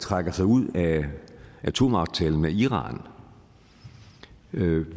trækker sig ud af atomaftalen med iran